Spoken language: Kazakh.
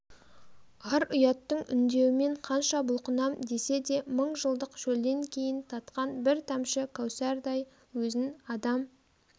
ар-ұяттың үндеуімен қанша бұлқынам десе де мың жылдық шөлден кейін татқан бір тамшы кәусардай өзін адам